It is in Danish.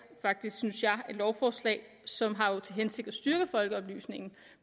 synes jeg et lovforslag som har til hensigt at styrke folkeoplysningen